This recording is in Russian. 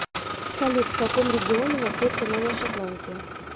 салют в каком регионе находится новая шотландия